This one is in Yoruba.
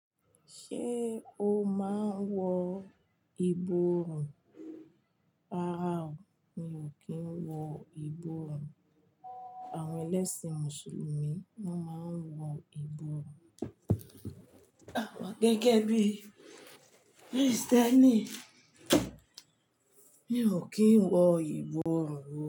Ṣé o máa ń wọ ìborùn? Rárá o, mi ò kí ń wọ ìbọrùn. Àwọn ẹlẹ́sìn Mùsùlùmí ni wọ́n máa ń wọ iborùn. Gẹ́gẹ́ bí Kristẹni, mi ò kí ń wọ iborùn.